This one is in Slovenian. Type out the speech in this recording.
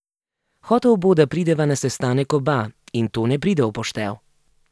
Hotel bo, da prideva na sestanek oba, in to ne pride v poštev.